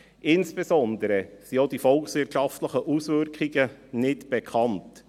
Insbesondere sind auch die volkswirtschaftlichen Auswirkungen nicht bekannt.